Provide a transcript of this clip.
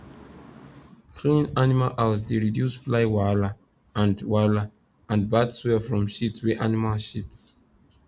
clean animal house dey reduce fly wahala and wahala and bad smell from shit wey animal shit